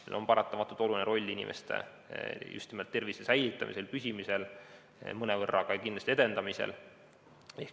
Sellel on paratamatult oluline roll inimeste tervise säilitamisel, püsimisel, mõnevõrra kindlasti ka edendamisel.